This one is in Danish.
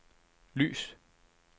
lys